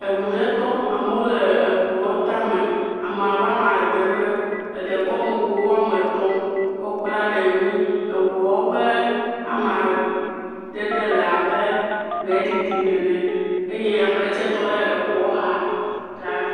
Eŋu ɖe tɔ amewo le eŋua tame, ame abe ame andre eɖe kɔ nugo woame etɔ̃ kɔ kpla ɖe ŋui, eŋua ƒe amadede le abe gbe ɖiɖi nene eye ame ɖe tse tɔ ɖe gbe xa.